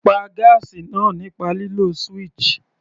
Pá gáásì náà nípa lílo switch.